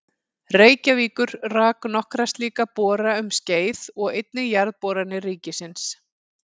Reykjavíkur rak nokkra slíka bora um skeið og einnig Jarðboranir ríkisins.